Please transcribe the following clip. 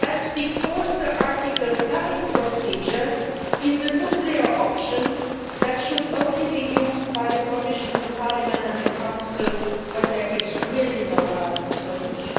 and because the Article 7 procedure is a nuclear option that should only be used by the Commission, Parliament and the Council when there is really no other solution.